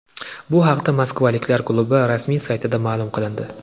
Bu haqda moskvaliklar klubi rasmiy saytida ma’lum qilindi .